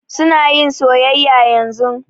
Su na yin soyayya yanzun.